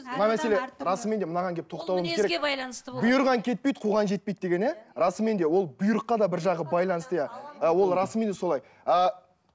мына мәселе расымен де мынаған келіп тоқталуымыз керек бұйырған кетпейді қуған жетпейді деген иә расымен де ол бұйрыққа да бір жағы байланысты иә ол расымен де солай ы